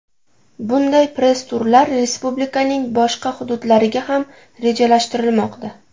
Bunday press-turlar respublikaning boshqa hududlariga ham rejalashtirilmoqda.